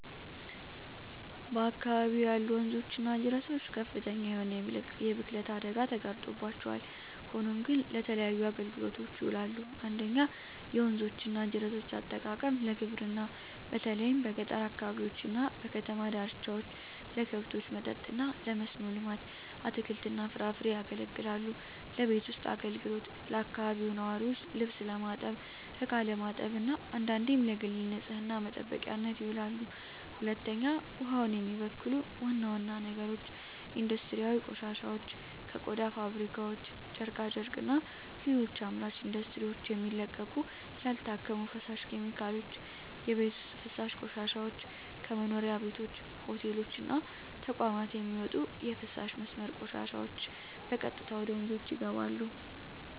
በአካባቢው ያሉ ወንዞች እና ጅረቶች ከፍተኛ የሆነ የብክለት አደጋ ተጋርጦባቸዋል፣ ሆኖም ግን ለተለያዩ አገልግሎቶች ይውላሉ። 1. የወንዞች እና ጅረቶች አጠቃቀም ለግብርና በተለይም በገጠር አካባቢዎች እና በከተማ ዳርቻዎች ለከብቶች መጠጥ እና ለመስኖ ልማት (አትክልትና ፍራፍሬ) ያገለግላሉለቤት ውስጥ አገልግሎት ለአካባቢው ነዋሪዎች ልብስ ለማጠብ፣ እቃ ለማጠብ እና አንዳንዴም ለግል ንፅህና መጠበቂያነት ይውላሉ። 2. ውሃውን የሚበክሉ ዋና ዋና ነገሮች ኢንዱስትሪያዊ ቆሻሻዎች ከቆዳ ፋብሪካዎች፣ ጨርቃ ጨርቅና ሌሎች አምራች ኢንዱስትሪዎች የሚለቀቁ ያልታከሙ ፈሳሽ ኬሚካሎች። የቤት ውስጥ ፍሳሽ ቆሻሻዎች ከመኖሪያ ቤቶች፣ ሆቴሎች እና ተቋማት የሚወጡ የፍሳሽ መስመር ቆሻሻዎች በቀጥታ ወደ ወንዞች ይገባሉ።